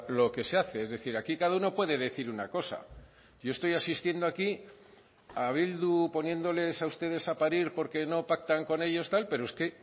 lo que se hace es decir aquí cada uno puede decir una cosa yo estoy asistiendo aquí a bildu poniéndoles a ustedes a parir porque no pactan con ellos tal pero es que